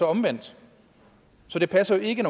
omvendt så det passer jo ikke